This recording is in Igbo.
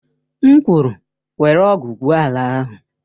M kwuru, were ọ̀gu gwụo ala ahụ!